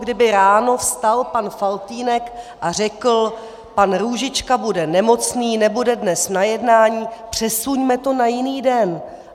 Kdyby ráno vstal pan Faltýnek a řekl: pan Růžička bude nemocný, nebude dnes na jednání, přesuňme to na jiný den.